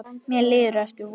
Mér líður eftir vonum.